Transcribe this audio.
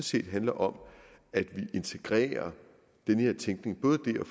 set handler om at vi integrerer den her tænkning både det